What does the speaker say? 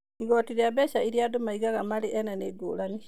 Igooti rĩa mbeca iria andũ magĩaga marĩ ene nĩ ngũrani.